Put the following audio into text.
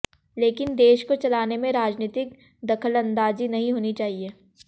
लेकिन देश को चलाने में राजनीतिक दखलंदाजी नहीं होनी चाहिए